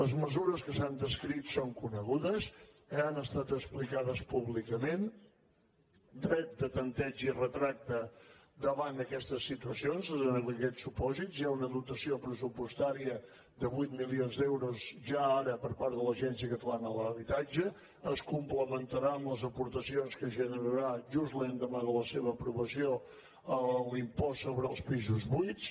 les mesures que s’han descrit són conegudes han estat explicades públicament dret de tanteig i retracte davant d’aquestes situacions i amb aquests supòsits hi ha una dotació pressupostària de vuit milions d’euros ja ara per part de l’agència catalana de l’habitatge es complementarà amb les aportacions que generarà just l’endemà de la seva aprovació l’impost sobre els pisos buits